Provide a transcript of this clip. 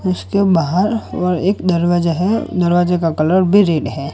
उसके बाहर और एक दरवाजा है दरवाजे का कलर भी रेड है।